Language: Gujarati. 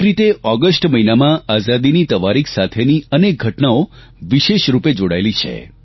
એક રીતે ઓગષ્ટ મહિનામાં આઝાદીની તવારીખ સાથેની અનેક ઘટનાઓ વિશેષ રૂપે જોડાયેલી છે